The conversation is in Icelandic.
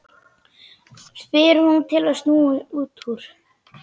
spyr hún til að snúa út úr.